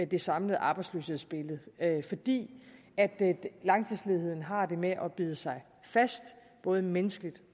det samlede arbejdsløshedsbillede fordi langtidsledigheden har det med at bide sig fast både menneskeligt